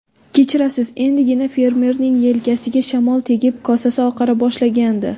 Kechirasiz, endigina fermerning yelkasiga shamol tegib, kosasi oqara boshlagandi.